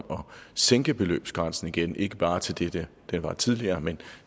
sænke beløbsgrænsen igen ikke bare til det det var tidligere men